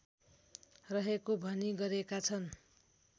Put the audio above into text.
रहेको भनी गरेका छन्